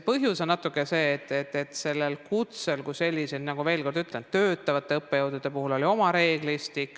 Põhjus on natuke see, et kutsel kui sellisel, ma veel kord ütlen, oli töötavate õppejõudude puhul oma reeglistik.